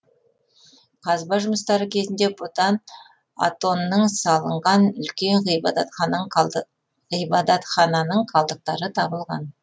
қазба жұмыстары кезінде бұдан атоннның салынған үлкен ғибадатхананың қалдықтары табылған